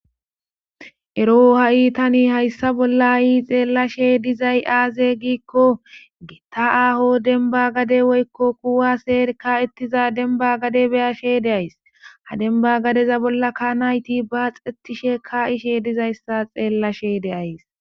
ero ha7i tani hayssa bolla ayi xeellashe dizay aaze giikko getta aaho denba gade woykko kuwa seerka ettiza denba gade beyashe deays ha demba gadeza bolla ka nayti ba xettishe ka ishe dizayssa xeellashe deays